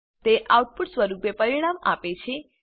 તે આઉટપુટ સ્વરૂપે પરિણામ આપે છે